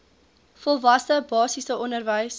volwasse basiese onderwys